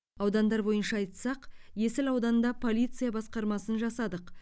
аудандар бойынша айтсақ есіл ауданында полиция басқармасын жасадық